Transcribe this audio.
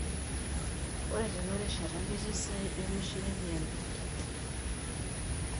Ore tenarishata ketii saidi omishire 200.